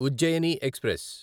Ujjaini express